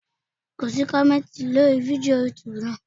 Ko sí kọ̀mẹ́ntì lórí fídíò yútubù náà.